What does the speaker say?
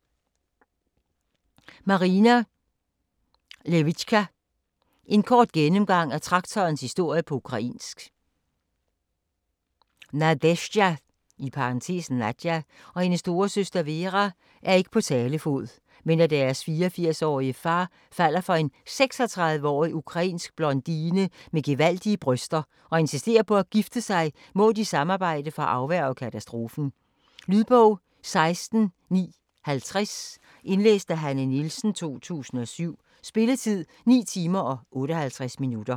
Lewycka, Marina: En kort gennemgang af traktorens historie på ukrainsk Nadezjda (Nadja) og hendes storesøster Vera er ikke på talefod, men da deres 84-årige far falder for en 36-årig ukrainsk blondine med gevaldige bryster og insisterer på at gifte sig, må de samarbejde for at afværge katastrofen. Lydbog 16950 Indlæst af Hanne Nielsen, 2007. Spilletid: 9 timer, 58 minutter.